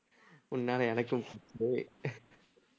உன்னால எனக்கும் பூரி